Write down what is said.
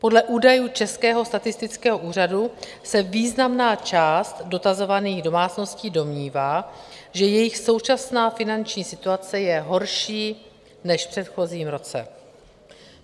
Podle údajů Českého statistického úřadu se významná část dotazovaných domácností domnívá, že jejich současná finanční situace je horší než v předchozím roce.